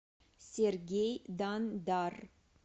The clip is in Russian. сергей дандар